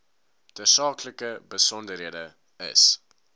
tersaaklike besonderhede is